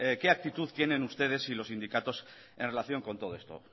qué actitud tienen ustedes y los sindicatos en relación con todo esto